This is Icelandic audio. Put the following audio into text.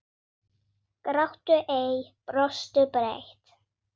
Gráttu ei. brostu breitt.